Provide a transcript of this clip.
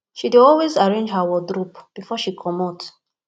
she dey always arrange her wardrope before she comot